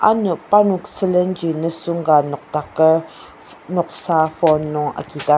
ano parnok sülen ji nisung ka nokdaker noksa phone nung agidar.